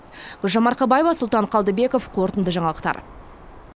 гүлжан марқабаева сұлтан қалдыбеков қорытынды жаңалықтар